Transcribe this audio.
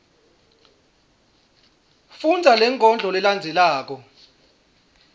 fundza lenkondlo lelandzelako